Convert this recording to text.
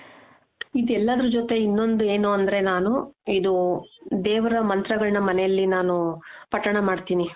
ಇದೆಲ್ಲಾದ್ರು ಜೊತೆ ಇನ್ನೊಂದ್ ಏನು ಅಂದ್ರೆ ನಾನು ಇದು ದೇವರ ಮಂತ್ರಗಳನ್ನ ಮನೇಲಿ ನಾನು ಪಠಣ ಮಾಡ್ತೀನಿ .